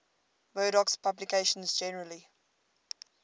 murdoch's publications generally